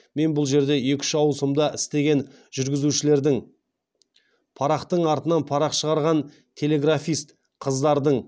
мен бұл жерде екі үш ауысымда істеген жүргізушілердің парақтың артынан парақ шығарған телеграфист қыздардың